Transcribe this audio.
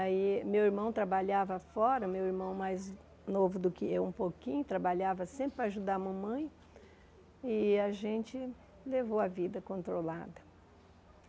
Aí meu irmão trabalhava fora, meu irmão mais novo do que eu um pouquinho, trabalhava sempre para ajudar a mamãe e a gente levou a vida controlada.